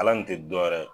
Ala nin te dɔwɛrɛ ye